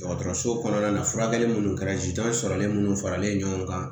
Dɔgɔtɔrɔso kɔnɔna na furakɛli minnu kɛra sɔrɔlen minnu faralen ɲɔgɔn kan